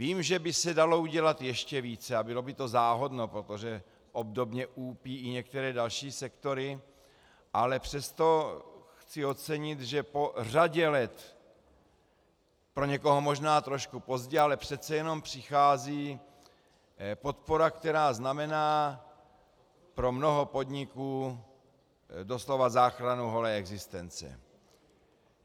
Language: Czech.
Vím, že by se dalo udělat ještě více, a bylo by to záhodno, protože obdobně úpí i některé další sektory, ale přesto chci ocenit, že po řadě let, pro někoho možná trošku pozdě, ale přece jenom, přichází podpora, která znamená pro mnoho podniků doslova záchranu holé existence.